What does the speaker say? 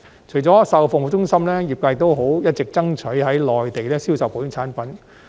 除了售後服務中心，業界亦一直爭取在內地銷售保險產品。